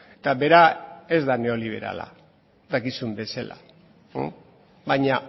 eta bera ez da neoliberala dakizun bezala baina